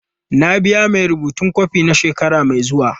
Na biya mai rubutun kwafi na shekara mai zuwa.